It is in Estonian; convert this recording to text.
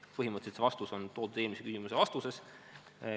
" Põhimõtteliselt, see vastus on toodud eelmise küsimuse vastuses.